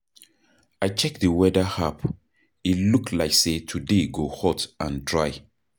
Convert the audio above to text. I check di weather app, e look like say today go hot and dry.